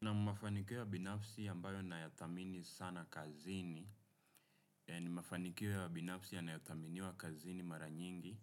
Naam mafanikio ya binafsi ambayo nayathamini sana kazini, ni mafanikio ya binafsi yanayothaminiwa kazini mara nyingi